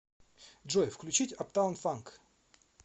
джой включить аптаун фанк